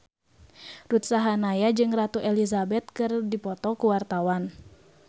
Ruth Sahanaya jeung Ratu Elizabeth keur dipoto ku wartawan